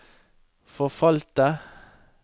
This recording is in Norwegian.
forfalte